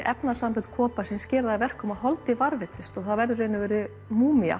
efnasambönd gera það verkum að varðveitist og það verður í raun og veru